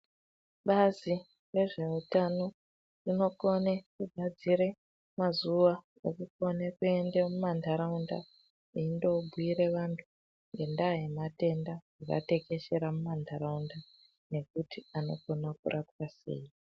Bazi rezveutano rinokone gadzire mazuwa ekukone kuenda mumandaraunda eindo bhiire antu ngendaya yematenda akatekeshera mumandaraunda nekuti anokone rapwa sei.